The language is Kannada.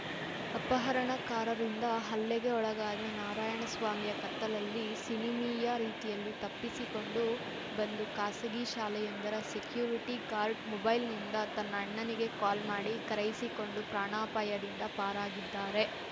ಅಪಹರಣಕಾರರಿಂದ ಹಲ್ಲೆಗೆ ಒಳಗಾದ ನಾರಾಯಣಸ್ವಾಮಿಯ ಕತ್ತಲಲ್ಲಿ ಸಿನಿಮೀಯ ರೀತಿಯಲ್ಲಿ ತಪ್ಪಿಸಿಕೊಂಡು ಬಂದು ಖಾಸಗಿ ಶಾಲೆಯೊಂದರ ಸೆಕ್ಯೂರಿಟಿ ಗಾರ್ಡ್‌ ಮೊಬೈಲ್‌ನಿಂದ ತನ್ನ ಅಣ್ಣನಿಗೆ ಕಾಲ್‌ ಮಾಡಿ ಕರೆಯಿಸಿಕೊಂಡು ಪ್ರಾಣಾಪಾಯದಿಂದ ಪಾರಾಗಿದ್ದಾರೆ